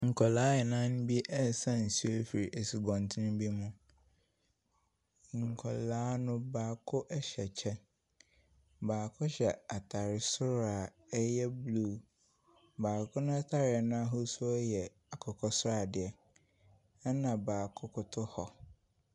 Nkwadaa nnan bi ɛresa nsu efi esubɔnten bi mu. Nkwadaa no baako ɛhyɛ kyɛ, baako hyɛ atare soro a ɛyɛ bruu, baako n'atareɛ n'ahosu yɛ akokɔsradeɛ ɛna baako koto hɔ.